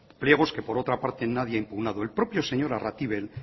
pliegos que por otra parte nadie ha impugnado el propio señor arratibel